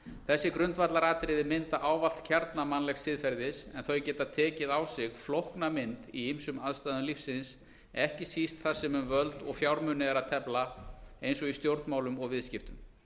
þessi grundvallaratriði mynda ávallt kjarna mannlegs siðferðis en þau geta tekið á sig flókna mynd í ýmsum aðstæðum lífsins ekki síst þar sem um völd og fjármuni er að tefla eins og í stjórnmálum og viðskiptum